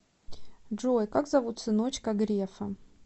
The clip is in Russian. джой как зовут сыночка грефа